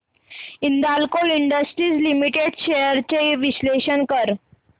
Hindalco industries limited shares चे विश्लेषण कर